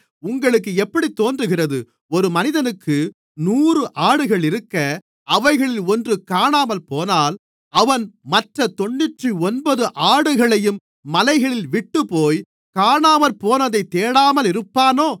உங்களுக்கு எப்படித் தோன்றுகிறது ஒரு மனிதனுக்கு நூறு ஆடுகளிருக்க அவைகளில் ஒன்று காணாமற்போனால் அவன் மற்றத் தொண்ணூற்றொன்பது ஆடுகளையும் மலைகளில் விட்டுப்போய் காணாமற்போனதைத் தேடாமலிருப்பானோ